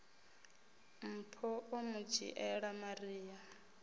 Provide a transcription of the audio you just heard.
mpho o mu dzhiela maria